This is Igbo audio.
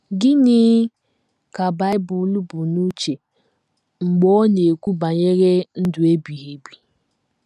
Gịnị ka Bible bu n’uche mgbe ọ na - ekwu banyere ndụ ebighị ebi?